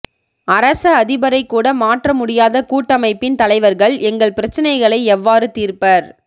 அரச அதிபரைக் கூட மாற்ற முடியாத கூட்டமைப்பின் தலைவர்கள் எங்கள் பிரச்சினைகளை எவ்வாறு தீர்ப்பர்